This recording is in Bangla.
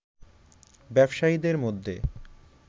ব্যবসায়ীদের মধ্যে